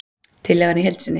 Tillagan í heild sinni